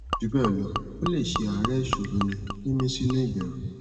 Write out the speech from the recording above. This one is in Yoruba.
jubelo o le se aare isoro ni mimi sinu iberu